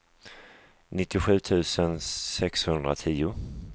nittiosju tusen sexhundratio